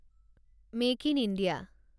make in India